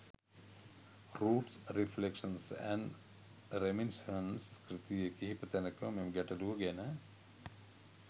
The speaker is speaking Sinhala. රූට්ස් රිෆ්ලෙක්ශන්ස් ඇන්ඩ් රෙමිනිසන්ස් කෘතියේ කිහිප තැනකම මෙම ගැටළුව ගැන